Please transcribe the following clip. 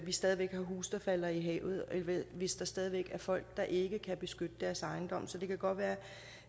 stadig væk har huse der falder i havet hvis der stadig væk er folk der ikke kan beskytte deres ejendom så det kan godt være